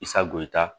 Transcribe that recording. Sago yeta